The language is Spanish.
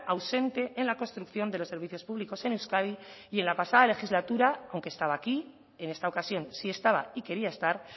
ausente en la construcción de los servicios públicos en euskadi y en la pasada legislatura aunque estaba aquí en esta ocasión sí estaba y quería estar